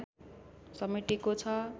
समेटेको छ